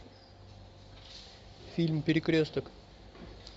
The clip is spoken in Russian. фильм перекресток